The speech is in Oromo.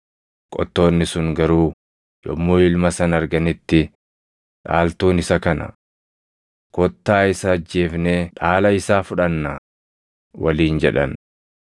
“Qottoonni sun garuu yommuu ilma sana arganitti, ‘Dhaaltuun isa kana. Kottaa isa ajjeefnee dhaala isaa fudhannaa!’ waliin jedhan.